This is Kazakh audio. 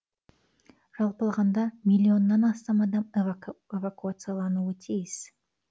жалпы алғанда миллионнан астам адам эвакуациялануы тиіс